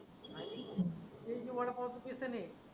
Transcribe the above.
यायची वडा पाव बेसन आहे.